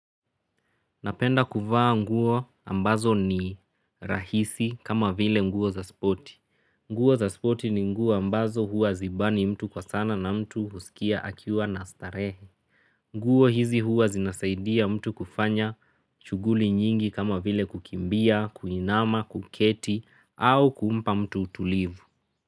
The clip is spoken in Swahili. Napenda kuvaa nguo ambazo ni rahisi kama vile nguo za spoti. Nguo za spoti ni nguo ambazo huwa hazibani mtu kwa sana na mtu husikia akiwa na starehe. Nguo hizi huwa zinasaidia mtu kufanya shughuli nyingi kama vile kukimbia, kuinama, kuketi au kumpa mtu utulivu.